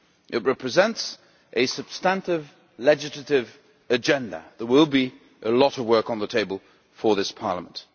It represents a substantive legislative agenda. There will be a lot of work on the table for this Parliament.